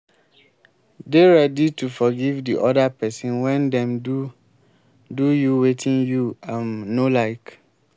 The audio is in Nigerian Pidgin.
dey ready to forgive di oda person when dem do do you wetin you um no like